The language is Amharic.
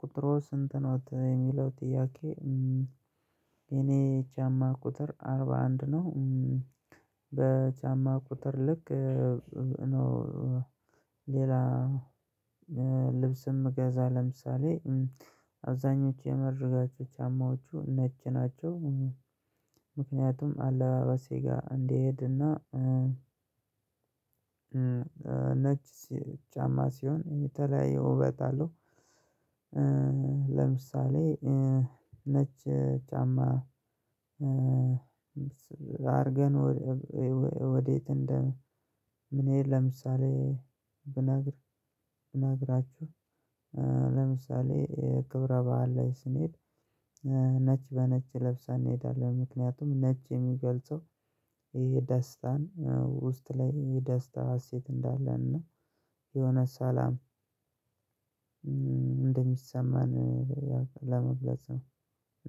ቁጥሮ ስንት ነው የሚለው ጥያቄ? የኔ የቻማ ቁጥር አርባ አንድ ነው። በቻማ ቁጥር ልክ እነው። ሌላ ልብስም ምገዛ ለምሳሌ አብዛኞቹ የመረጋቸው ቻማዎቹ ነጭ ናቸው። ምክንያቱም አለባበሴ ጋር እንዲሄድና ነጭ ጫማ ሲሆን የተለያየ ውበት አለው። ለምሳሌ ነች ጫማ አርገን ወዴት? እንደ ምን ሄድ ለምሳሌ ብናግር እናግራችሁ ለምሳሌ ክብረ በዓል ላይ ስንሄድ ነጭ በነጭ ለብሰን እንሄዳለን። ምክንያቱም ነጭ የሚገልጸው ይሄ ደስታን ውስጥ ላይ ይሄ ደስታ ሀሴት እንዳለን ነው። የሆነ ሰላም እንደሚሰማን ለመግለጽ ነው።